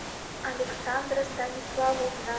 александра станиславовна